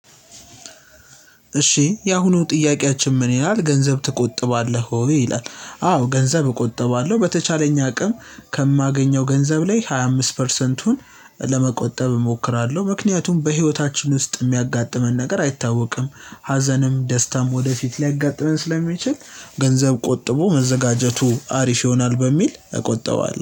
እሺ የአሁኑ ጥያቄያችን ምን ይላል ገንዘብ ትቆጥባለህ ወይ? ይላል አዎ ገንዘብ እቆጥባለሁኝ በተቻለኝ አቅም ከማገኘው ገንዘብ ላይ ሃያ አምስት ፐርሰንቱን ለመቆጠብ እሞክራለሁ ምክንያቱም በህይወታችን ውስጥ የሚያጋጥመን ነገር አይታወቅም ሀዘንም ደስታም ወደፊት ሊያጋጥመን ስለሚችል ገንዘብ ቆጥቦ መዘጋጀቱ አሪፍ ይሆናል በሚል እቆጥባዋለሁ።